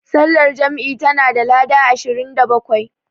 Sallar jam'i tana da lada ashirin da bakwai.